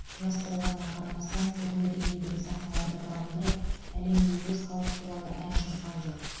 жас болғанына қарамастан түрлі деңгейдегі сахналарды бағындырып әлемге өз халқы туралы ән шырқап жүр